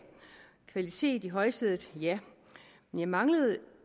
kvalitet i højsædet ja men jeg manglede